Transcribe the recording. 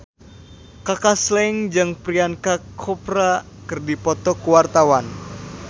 Kaka Slank jeung Priyanka Chopra keur dipoto ku wartawan